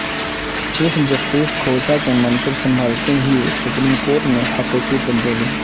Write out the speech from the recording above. chief justice Khosa کے منصب سنبھالتے ہی سپریم کورٹ میں حقیقی تبدیلی